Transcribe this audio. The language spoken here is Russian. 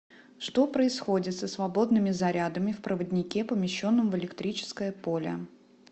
что происходит со свободными зарядами в проводнике помещенном в электрическое поле